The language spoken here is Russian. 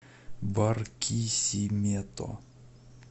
баркисимето